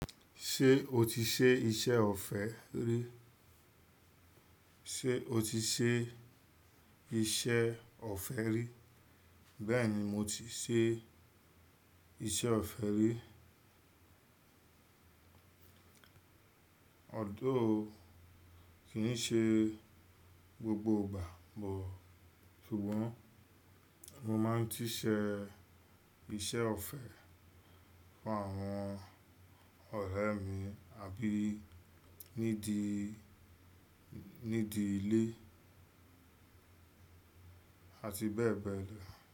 Ṣé o ti ṣe iṣẹ́ ọ̀fẹ́ rí? Sé o ti ṣe iṣẹ́ ọ̀fẹ́ rí? Bẹ́ẹ̀ ni, mo ti ṣe iṣẹ́ ọ̀fẹ́ rí. Although kí n ṣe gbogbo ìgbà but, ṣùgbọ́n mo máa ń ṣíṣe iṣẹ́ ọ̀fẹ́ fún àwọn ọ̀rẹ́ mi àbí nídi, nídi ilé àti bẹ́ẹ̀bẹ́ẹ̀ lọ.